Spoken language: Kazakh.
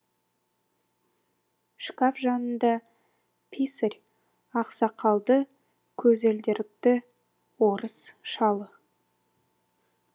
шкаф жанында писарь ақсақалды көзілдірікті орыс шалы